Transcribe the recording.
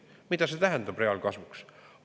Mida see tähendab reaalkasvuks?